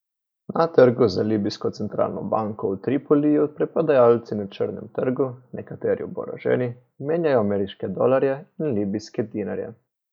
Na trgu za libijsko centralno banko v Tripoliju preprodajalci na črnem trgu, nekateri oboroženi, menjajo ameriške dolarje in libijske dinarje.